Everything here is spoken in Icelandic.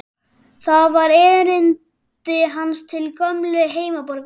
Það var erindi hans til gömlu heimaborgarinnar.